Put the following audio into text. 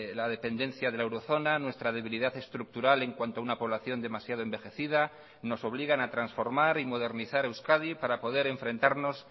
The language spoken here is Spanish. la dependencia de la eurozona nuestra debilidad estructural en cuanto a una población demasiado envejecida nos obligan a transformar y modernizar euskadi para poder enfrentarnos